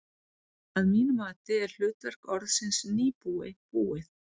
Að mínu mati er hlutverk orðsins nýbúi búið.